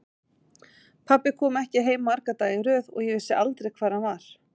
Pabbi kom ekki heim marga daga í röð og ég vissi aldrei hvar hann var.